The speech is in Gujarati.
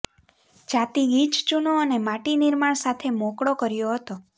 જાતિ ગીચ ચૂનો અને માટી નિર્માણ સાથે મોકળો કર્યો હતો